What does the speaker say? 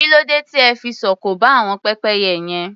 Kí ló dé tí ẹ fi sọ òkò ba àwọn pépẹ́yẹ yẹn?